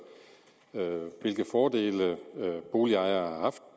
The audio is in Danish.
hvilke fordele boligejere